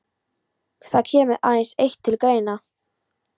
Það kemur aðeins eitt til greina.